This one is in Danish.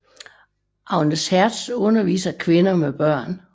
Agnes Hertz underviser kvinder med børn